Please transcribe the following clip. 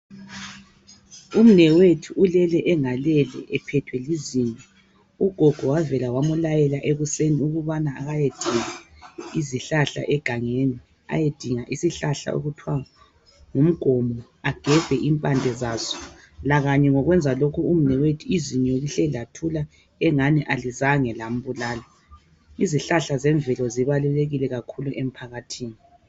Umnewethu ulele engalele ephethwe lizinyo. Ugogo wavela wamulayela ekuseni ukubana akayedinga izihlahla egangeni. Ayedinga isihlahla okuthwa ngumgomo ,agebhe impande zaso. Lakanye ngokwenza lokhu umnewethu, izinyo lihle lathula engani alizange lambulala. Izihlahla zemvelo zibalulekile kakhulu emphakathini.